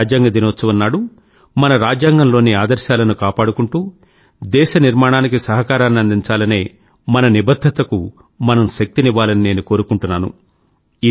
ఈ రాజ్యాంగ దినోత్సవం నాడు మన రాజ్యాంగంలోని ఆదర్శాలను కాపాడుకుంటూ దేశ నిర్మాణానికి సహకారాన్ని అందించాలనే మన నిబధ్ధతకు మనం శక్తినివ్వాలని నేను కోరుకుంటున్నాను